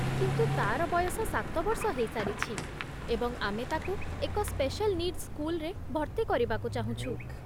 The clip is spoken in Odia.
କିନ୍ତୁ, ତାର ବୟସ ସାତ ବର୍ଷ ହେଇସାରିଛି, ଏବଂ ଆମେ ତାକୁ ଏକ ସ୍ପେସାଲ୍ ନିଡ୍ସ୍ ସ୍କୁଲରେ ଭର୍ତ୍ତି କରିବାକୁ ଚାହୁଁଛୁ।